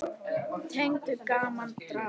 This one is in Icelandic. Tegund: Gaman, Drama